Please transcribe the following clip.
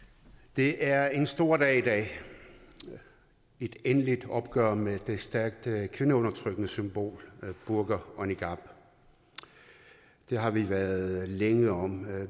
det er en stor dag i dag et endeligt opgør med de stærkt kvindeundertrykkende symboler burka og niqab det har vi været længe om